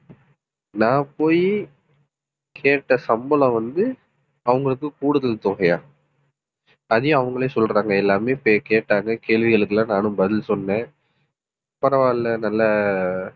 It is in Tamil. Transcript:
நான் போயி கேட்ட சம்பளம் வந்து, அவங்களுக்கு கூடுதல் தொகையாம் அதையும் அவங்களே சொல்றாங்க எல்லாமே கேட்டாங்க கேள்விகளுக்கு எல்லாம், நானும் பதில் சொன்னேன் பரவாயில்லை நல்ல